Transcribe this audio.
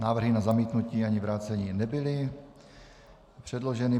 Návrhy na zamítnutí ani vrácení nebyly předloženy.